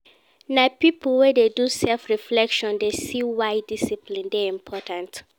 Na pipo wey dey do self-reflection dey see why discipline dey important.